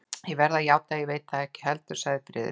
Ég verð að játa, að ég veit það ekki heldur sagði Friðrik.